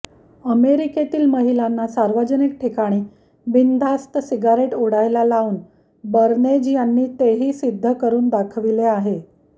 अमेरिकेतील महिलांना सार्वजनिक ठिकाणी बिनधास्त सिगारेट ओढायला लावून बर्नेज यांनी तेही सिद्ध करून दाखविले आहे